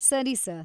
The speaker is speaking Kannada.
ಸರಿ ಸರ್.